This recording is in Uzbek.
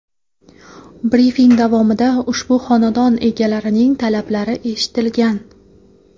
Brifing davomida ushbu xonadon egalarining talablari eshitilgan.